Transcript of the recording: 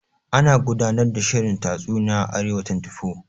Ana gudanar da shirin tatsuniya a Arewa 24.